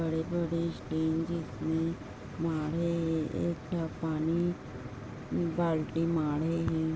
बड़े बड़े पानी बाल्टी --